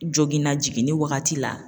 Joginna jiginni wagati la